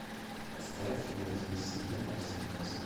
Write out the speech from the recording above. поставь нойз эмси на марсе классно